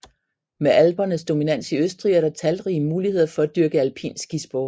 Med Alpernes dominans i Østrig er der talrige muligheder for at dyrke alpin skisport